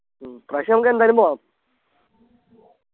ഉം ഇപ്പ്രാവശ്യം നമുക്കെന്തായാലും പോണം